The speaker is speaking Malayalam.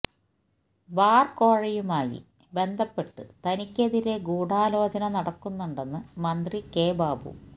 ബാർ കോഴയുമായി ബന്ധപ്പെട്ട് തനിക്കെതിരെ ഗൂഢാലോചന നടക്കുന്നുണ്ടെന്ന് മന്ത്രി കെ ബാബു